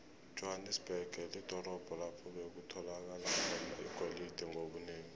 ijohanesberg lidorobho lapho bekutholakala khona igolide ngobunengi